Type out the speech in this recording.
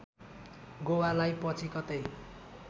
गोवालाई पछि कतै